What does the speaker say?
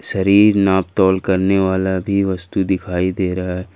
शरीर नापतोल करने वाला भी वस्तु दिखाई दे रहा है।